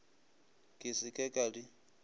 ke se ke ka di